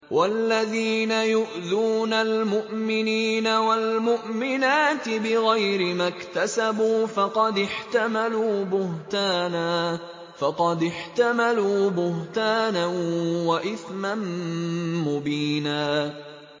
وَالَّذِينَ يُؤْذُونَ الْمُؤْمِنِينَ وَالْمُؤْمِنَاتِ بِغَيْرِ مَا اكْتَسَبُوا فَقَدِ احْتَمَلُوا بُهْتَانًا وَإِثْمًا مُّبِينًا